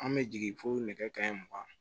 An bɛ jigin fo nɛgɛ kanɲɛ mugan